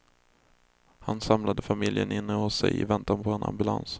Han samlade familjen inne hos sig i väntan på ambulans.